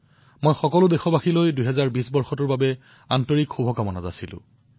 মই সকলো দেশবাসীক ২০২০ বৰ্ষৰ বাবে হৃদয়েৰে শুভকামনা জনাইছো